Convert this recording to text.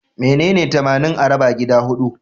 Menene tamanin a raba gida huɗu?